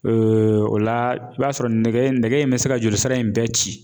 o la i b'a sɔrɔ nɛgɛ in bɛ se ka joli sira in bɛɛ ci